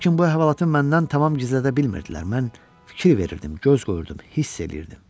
Lakin bu əhvalatı məndən tam gizlədə bilmirdilər, mən fikir verirdim, göz qoyurdum, hiss eləyirdim.